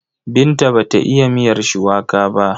Binta ba ta iya miyar shuwaka ba.